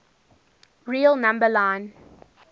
real number line